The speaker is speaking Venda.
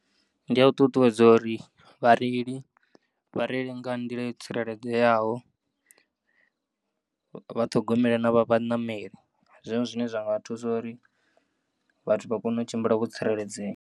Ndi ya u ṱuṱuwedza uri vhareili vhareile nga nḓila yo tsireledzeaho, vha ṱhogomele na vha vhanameli. Ndi zwone zwine zwanga thusa uri vhathi vhakone u tshimbila vho tsireledzea.